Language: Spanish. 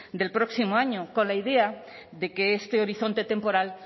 del próximo año con la idea de que este horizonte temporal